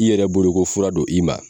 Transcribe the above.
I yɛrɛ boloko fura don i ma.